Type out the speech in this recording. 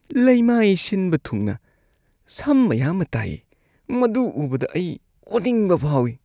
ꯂꯩꯃꯥꯏ ꯁꯤꯟꯕ ꯊꯨꯡꯅ ꯁꯝ ꯃꯌꯥꯝꯃ ꯇꯥꯏꯌꯦ꯫ ꯃꯗꯨ ꯎꯕꯗ ꯑꯩ ꯑꯣꯅꯤꯡꯕ ꯐꯥꯎꯏ꯫